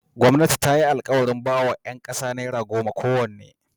Gwamnati ta yi alkawarin ba ‘yan kasa naira goma kowanne.